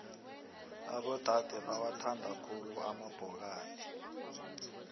abodade bawathanda khulu amabhokadi